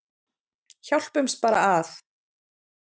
Hjálpumst bara að.